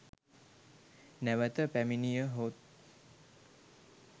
නැවත පැමිණියහොත්